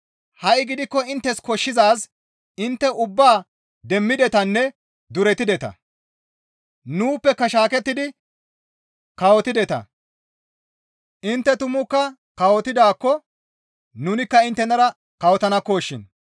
Ha7i gidikko inttes koshshizaaz intte ubbaa demmidetanne duretideta; nuuppeka shaakettidi kawotideta; intte tumukka kawotidaakko nunikka inttenara kawotanakko shin.